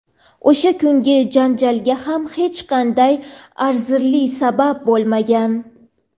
O‘sha kungi janjalga ham hech qanday arzirli sabab bo‘lmagan.